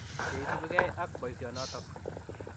che isubigei ak boisionotok.